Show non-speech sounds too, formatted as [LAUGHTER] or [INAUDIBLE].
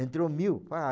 Entrou mil, [UNINTELLIGIBLE]